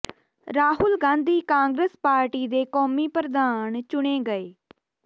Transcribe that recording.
Rahul Gandhi Congress party ਦੇ ਕੌਮੀ ਪ੍ਰਧਾਨ ਚੁਣੇ ਗਏ